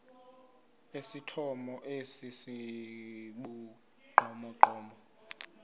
esithomo esi sibugqomogqomo